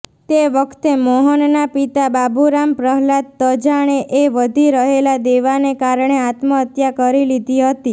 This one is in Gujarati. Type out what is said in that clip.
તે વખતે મોહનના પિતા બાબૂરામ પ્રહલાદ તજાણેએ વધી રહેલાં દેવાને કારણે આત્મહત્યા કરી લીધીહતી